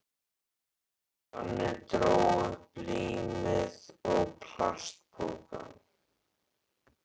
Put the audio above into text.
Jonni dró upp límið og plastpokann.